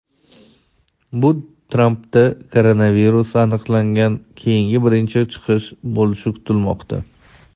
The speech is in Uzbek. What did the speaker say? Bu Trampda koronavirus aniqlangandan keyingi birinchi chiqish bo‘lishi kutilmoqda.